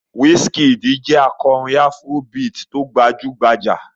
Wizkid jẹ́ akọrin afrobeat tó gbajú-gbajà.